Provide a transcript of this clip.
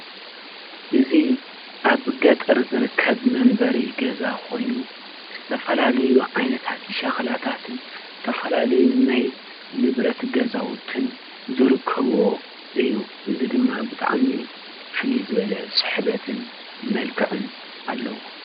እዚ ኣብ ገጠር ዝርከብ መንበሪ ገዛ ኮይኑ ዝተፈላለዩ ዓይነታት ሸክላታትን ዝተፈላለዩ ናይ ንብረት ገዛውትን ዝርከብዎ እዩ። እዚ ድማ ብጣዕሚ ፍልይ ዝበለ ስሕበትን መልክዕን አለዎ።